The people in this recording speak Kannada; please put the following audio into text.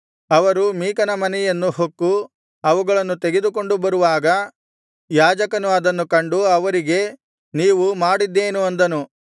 ಅವರು ಮೀಕನ ಮನೆಯನ್ನು ಹೊಕ್ಕು ಅವುಗಳನ್ನು ತೆಗೆದುಕೊಂಡು ಬರುವಾಗ ಯಾಜಕನು ಅದನ್ನು ಕಂಡು ಅವರಿಗೆ ನೀವು ಮಾಡಿದ್ದೇನು ಅಂದನು